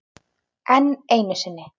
Enn einu sinni.